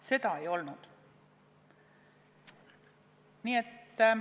Seda ei olnud.